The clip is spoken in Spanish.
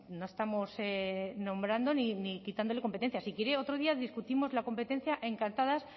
no estamos nombrando ni quitándole competencias si quiere otro día discutimos la competencia encantadas